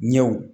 Ɲɛw